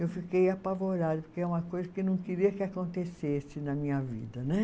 Eu fiquei apavorada, porque é uma coisa que eu não queria que acontecesse na minha vida, né?